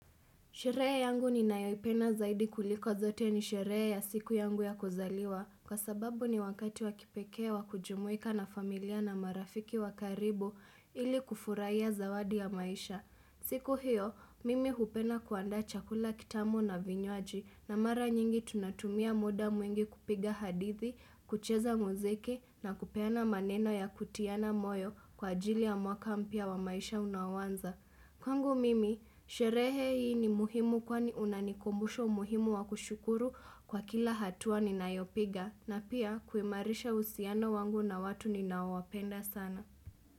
Sheree yangu ninayoipenda zaidi kuliko zote ni sheree ya siku yangu ya kuzaliwa Kwa sababu ni wakati wakipekee wa kujumuika na familia na marafiki wakaribu ili kufurahia zawadi ya maisha siku hiyo, mimi hupenda kuandaa chakula kitamu na vinywaji na mara nyingi tunatumia muda mwengi kupiga hadithi, kucheza muziki na kupeana maneno ya kutiana moyo kwa ajili ya mwaka mpya wa maisha unaoanza Kwangu mimi, sherehe hii ni muhimu kwani unanikumbusha muhimu wa kushukuru kwa kila hatua ninayopiga na pia kuimarisha uhusiano wangu na watu ninaowapenda sana.